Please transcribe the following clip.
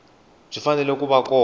byi fanele ku va kona